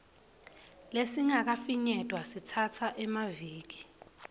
lesingakafinyetwa sitsatsa emaviki